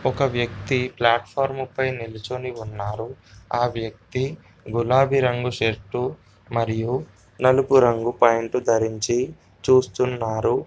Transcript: ఒక వ్యక్తి ప్లాట్ఫార్ముపై నిల్చొని ఉన్నారు. ఆ వ్యక్తి గులాబీ రంగు షర్టు మరియు నలుపు రంగు ప్యాంటు ధరించి చూస్తున్నారు.